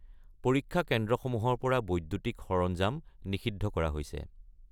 পৰীক্ষা কেন্দ্ৰসমূহৰ পৰা বৈদ্যুতিক সৰঞ্জাম নিষিদ্ধ কৰা হৈছে।